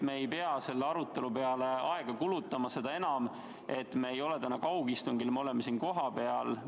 Me ei pea selle arutelu peale rohkem aega kulutama, seda enam, et me ei ole täna kaugistungil, me oleme siin kohapeal.